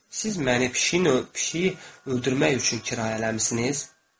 Siz məni pişiyin pişiyi öldürmək üçün kirayələmisiniz?